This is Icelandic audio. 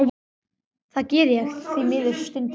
Það geri ég því miður stundum.